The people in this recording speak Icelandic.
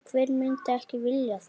Hver myndi ekki vilja það?